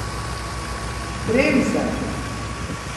Bremzaj!